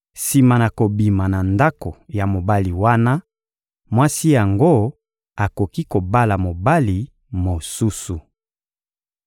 Sima na kobima na ndako ya mobali wana, mwasi yango akoki kobala mobali mosusu.